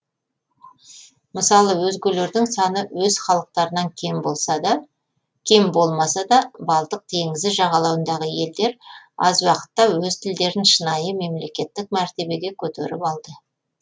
мысалы өзгелердің саны өз халықтарынан кем болмаса да балтық теңізі жағалауындағы елдер аз уақытта өз тілдерін шынайы мемлекеттік мәртебеге көтеріп алды